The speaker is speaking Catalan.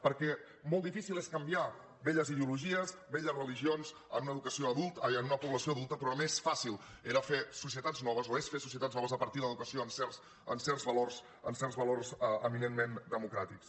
perquè molt difícil és canviar velles ideologies velles religions en una població adulta però més fàcil era fer societats noves o és fer societats noves a partir de l’educació en certs valors eminentment democràtics